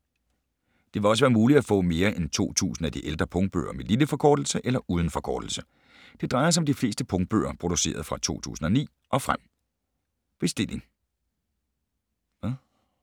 Det vil også være muligt at få mere end 2000 af de ældre punktbøger med lille forkortelse eller uden forkortelse. Det drejer sig om de fleste punktbøger produceret fra 2009 og frem.